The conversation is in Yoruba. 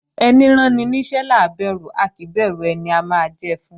Ẹní ráni níṣẹ́ là ń bẹ̀rù a kì í bẹ̀rù ẹni a máa jẹ fún